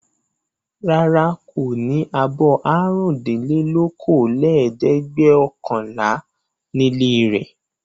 Rárá, kò ní abọ́ àrùndínlókòólẹ́ẹ̀dẹ́gbẹ̀ọ̀kànlá nílé rẹ̀.